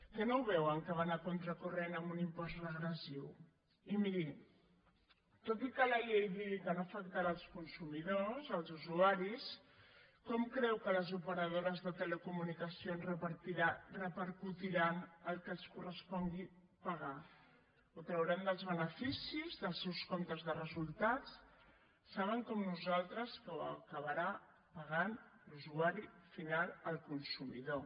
que no ho veuen que van a contracorrent amb un impost regressiu i miri tot i que la llei digui que no afectarà els consumidors els usuaris com creu que les operadores de telecomunicacions repercutiran el que els correspongui pagar ho trauran dels beneficis dels seus comptes de resultats saben com nosaltres que ho acabarà pagant l’usuari final el consumidor